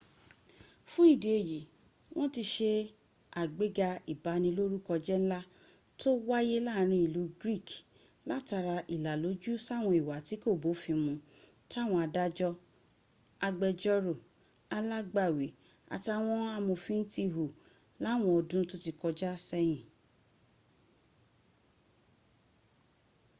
fún ìdí èyí, wọ́n ti se àgbéga ìbanilórúkọjẹ́ ńlá tó wáyé láàrin ìlú greek látara ìlàlójú sáwọn ìwà tí kò bófin mun táwọn adájọ́ agbẹ́jọ́rò alágbàwí àtàwọn amòfin ti hù láwọn ọdún tó ti kọjá sẹ́yìn